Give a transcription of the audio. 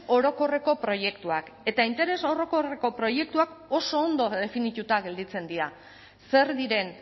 orokorreko proiektuak eta interes orokorreko proiektuak oso ondo definituta gelditzen dira zer diren